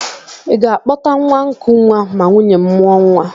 Ị ga-akpọta nwa nkụnwa ma nwunye m mụọ nwa